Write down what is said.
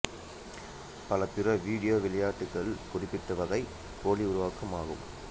பல பிற வீடியோ விளையாட்டுக்கள் குறிப்பிட்டவகை போலி உருவாக்கிகள் ஆகும்